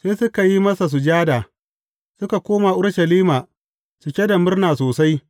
Sai suka yi masa sujada, suka koma Urushalima cike da murna sosai.